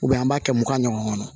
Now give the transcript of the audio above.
an b'a kɛ mugan ɲɔgɔn kɔnɔ